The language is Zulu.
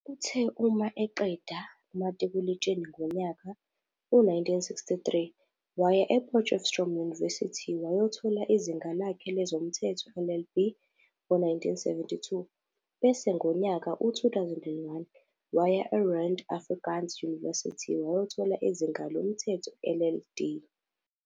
Uthe uma eqeda umatikuletsheni ngonyaka u-1963 waya e-Potchefstroom University wayothola izinga lakhe lezomthetho, LLB, ngo-1972 bese ngonyaka u-2001 waya e-Rand Afrikaans University wayothola izinga lezomthetho, LLD.